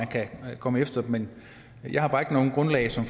kan komme efter dem men jeg har bare ikke noget grundlag som